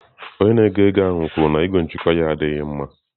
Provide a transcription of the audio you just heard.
Onye na-ego ego ahụ kwuru na igwe ngụkọ ya adịghị mma.